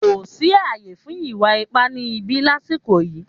Kò sí ààyè fún ìwà ipá ni ìbí lasiko yìí